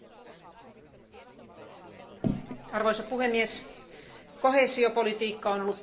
Arvoisa puhemies, koheesiopolitiikka on ollut tarpeellista ja se on ollut onnistunutta.